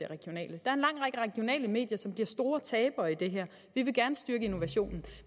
regionale medier som bliver store tabere i det her vi vil gerne styrke innovationen